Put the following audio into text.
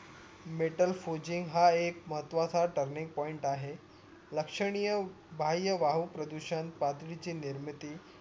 metal forging हा एक महत्वाचा Turning Point लक्षनिय बाह्य वायहू प्रदूषण प्रातविची निमिर्ती हा एक महत्वाचा Turning Point लक्षनिय बाह्य वाहू प्रदूषण प्राथविची निमिर्ती